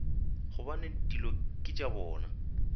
gobane dilo ke tša bona